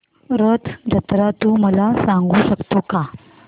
रथ जत्रा तू मला सांगू शकतो का